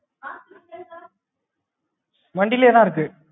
வண்டிலையே தான் இருக்கு.